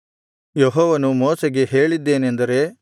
ಯೆಹೋವನು ಮೋಶೆಗೆ ಹೇಳಿದ್ದೇನೆಂದರೆ